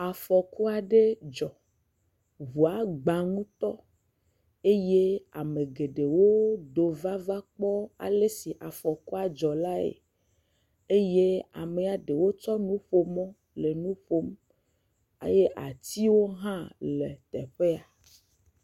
Afɔku aɖe dzɔ. Ŋua gba ŋutɔ eye ame geɖewo do va va kpɔ le si afɔkua dzɔ lae eye wme ɖewo tsɔ nu ƒo mɔ le nu ƒom eye atiwwo hã ele teƒe ya.